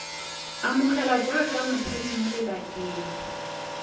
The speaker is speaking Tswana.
amogelwa jaaka motshabi mo lebakeng